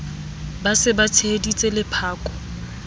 ba se ba tsheheditse lephako